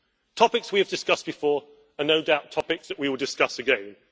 Topics we have discussed before and no doubt topics that we will discuss again